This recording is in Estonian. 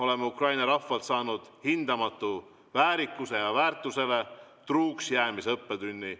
Oleme Ukraina rahvalt saanud hindamatu väärikuse ja väärtustele truuks jäämise õppetunni.